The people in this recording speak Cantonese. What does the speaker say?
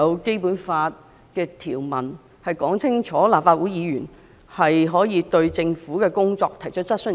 《基本法》賦權立法會議員對政府的工作提出質詢。